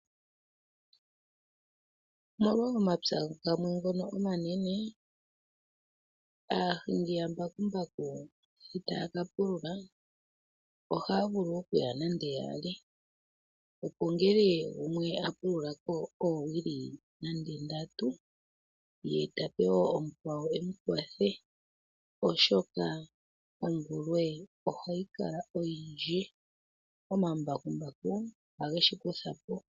Nago omapya gamwe ngono omanene aahingi ya mbakumbaku sho taya ka pulula ohaya vulu okuya nande yaali, opo ngele gumwe a pulula ko oowili nande ndatu ye tape wo omukwawo emu kwathe. Oshoka omvulwe ohayi kala oyindji omambakumbaku oha geshi kutha po.